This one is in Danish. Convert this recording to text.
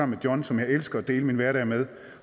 med john som jeg elsker at dele min hverdag med